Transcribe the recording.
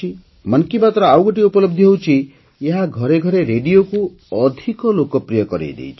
ମନ୍ କି ବାତ୍ର ଆଉ ଗୋଟିଏ ଉପଲବଧି ହେଉଛି ଏହା ଘରେ ଘରେ ରେଡ଼ିଓକୁ ଅଧିକ ଲୋକପ୍ରିୟ କରାଇଦେଇଛି